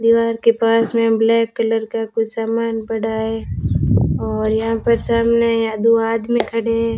दीवार के पास में ब्लैक कलर का कुछ सामान पड़ा है और यहां पर सामने या दो आदमी खड़े हैं।